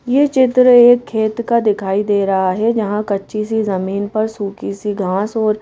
ये चित्र एक खेत का दिखाई दे रहा है जहां कच्ची सी जमीन पर सुखी सी घास और--